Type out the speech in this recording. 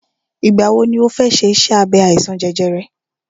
Ìgbà wọ ni ọ fẹ ṣe iṣẹ́ abẹ àìsàn jẹjẹrẹ rẹ?